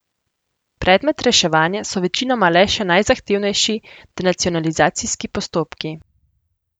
Predmet reševanja so večinoma le še najzahtevnejši denacionalizacijski postopki.